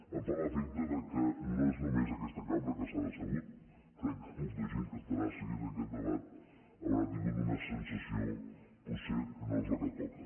em fa l’efecte que no és només aquesta cambra que s’ha decebut crec que molta gent que deu estar seguint aquest debat deu haver tingut una sensació potser que no és la que toca